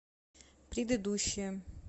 предыдущая